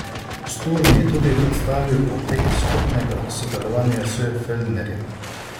Sturm je tudi predstavil potek skupnega sodelovanja s Feldnerjem.